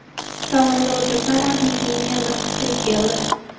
Salonda o‘tirsam, oddiy kiyingan bir qiz kirib keldi.